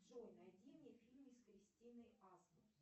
джой найди мне фильмы с кристиной асмус